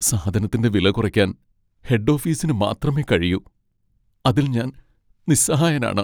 സാധനത്തിന്റെ വില കുറയ്ക്കാൻ ഹെഡ് ഓഫീസിന് മാത്രമേ കഴിയൂ, അതിൽ ഞാൻ നിസ്സഹായനാണ്.